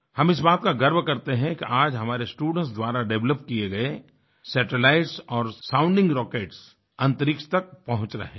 हम इस बात का गर्व करते हैं कि आज हमारे स्टूडेंट्स द्वारा डेवलप किए गए सैटेलाइट्स और साउंडिंग रॉकेट्स अंतरिक्ष तक पहुँच रहे हैं